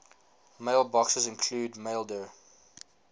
mailboxes include maildir